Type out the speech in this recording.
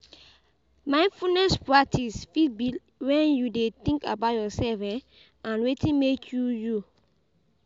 Mindfulness practice fit be when you de think about yourself um and wetin make you, you